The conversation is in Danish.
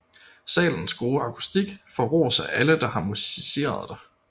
Salens gode akustik får ros af alle der har musiceret dér